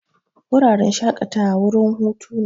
Wuraren shakatawa wurin hutu ne.